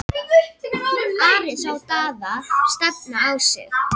Ari sá Daða stefna á sig.